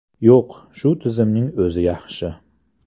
Yo‘q, shu tizimning o‘zi yaxshi.